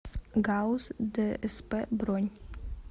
гауз дсп бронь